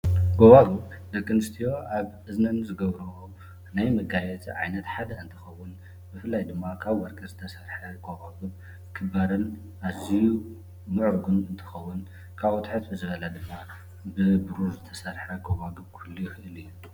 ጎባጉብ ደቂ ኣንስትዮ ኣብ እዝነን ዝገብርኦ ናይ መጋየፂ ዓይነት ሓደ እንትኸውን ብፍላይ ድማ ካብ ወርቂ ዝተሰረሐ ጎባጉብ ክባርን ኣዝዩ ምዑሩግን እንትኸውን ካብኡ ትሕት ብዝበለ ድማ ብብሩር ዝተሰርሐ እውን ክህሉ ይኽእል እዩ።